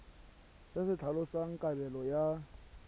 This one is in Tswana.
se se tlhalosang kabelo ya